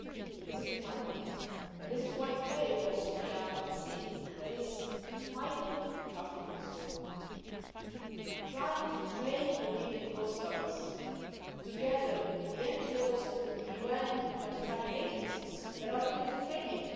This has been my priority, and this is why today we have Sophia at sea that is fighting the traffickers, trying to train the Libyan coastguards, together with the NGOs and with the UN humanitarian agencies that are doing the training.